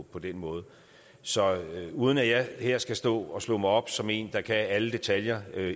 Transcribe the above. på den måde så uden at jeg her skal stå og slå mig op som en der kan alle detaljer